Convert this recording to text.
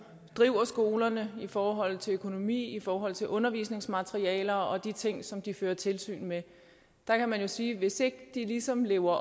driver skolerne i forhold til økonomi i forhold til undervisningsmaterialer og de ting som de fører tilsyn med kan man jo sige at hvis ikke de ligesom lever